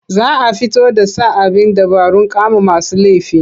Za a fito da sa abin dabarun kama masu laifi.